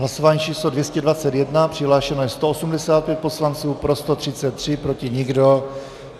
Hlasování číslo 221, přihlášeno je 185 poslanců, pro 133, proti nikdo.